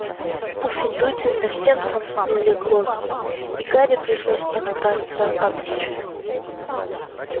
пуффендуйцы совсем сомкнули головы и гарри пришлось подкрасться поближе